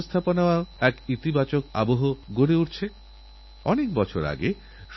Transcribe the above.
আপনাদের যদি এই পরিবর্তনের দৌড়ে পা মেলাতে হয় পরিবর্তনের দৌড়ে এগিয়েথাকতে হবে